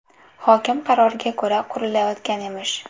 Hokim qaroriga ko‘ra, qurilayotgan emish.